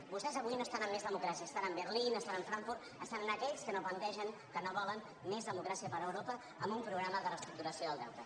vostès avui no estan amb més democràcia estan amb berlín estan amb frankfurt estan amb aquells que no plantegen que no volen més democràcia per europa amb un programa de reestructuració del deute